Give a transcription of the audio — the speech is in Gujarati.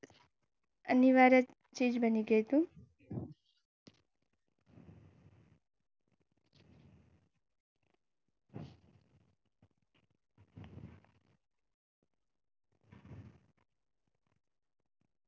અનિવાર્ય.